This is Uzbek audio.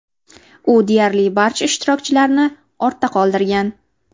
U deyarli barcha ishtirokchilarni ortda qoldirgan .